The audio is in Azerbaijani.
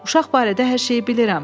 Uşaq barədə hər şeyi bilirəm.